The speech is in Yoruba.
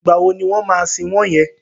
Ìgbà wo ni wọ́n máa sin wọ́n yẹn?